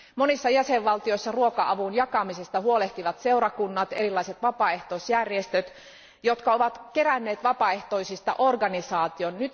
Monissa jäsenvaltioissa ruoka avun jakamisesta huolehtivat seurakunnat ja erilaiset vapaaehtoisjärjestöt, jotka ovat keränneet vapaaehtoisista organisaation.